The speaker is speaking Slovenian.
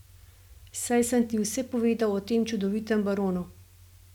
Saj sem ti vse povedal o tem čudovitem baronu.